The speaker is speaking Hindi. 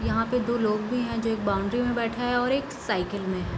यहाँ पर दो लोग भी हैं जो एक बाउंड्री में बैठा और एक साइकिल में ।